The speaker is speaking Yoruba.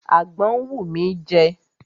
Àgbọn ń wù mí jẹ.